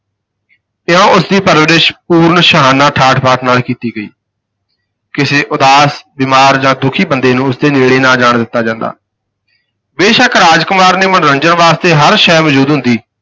ਇਉਂ ਉਸ ਦੀ ਪਰਿਵਰਸ਼ ਪੂਰਨ ਸ਼ਾਹਾਨਾ ਠਾਠ ਬਾਠ ਨਾਲ ਕੀਤੀ ਗਈ ਕਿਸੇ ਉਦਾਸ, ਬਿਮਾਰ ਜਾਂ ਦੁਖੀ ਬੰਦੇ ਨੂੰ ਉਸ ਦੇ ਨੇੜੇ ਨਾ ਜਾਣ ਦਿਤਾ ਜਾਂਦਾ ਬੇਸ਼ੱਕ ਰਾਜ ਕੁਮਾਰ ਦੇ ਮਨੋਰੰਜਨ ਵਾਸਤੇ ਹਰ ਸ਼ੈਅ ਮੌਜੂਦ ਹੁੰਦੀ